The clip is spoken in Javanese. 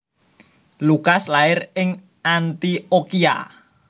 Lukas lair ing Anthiokhia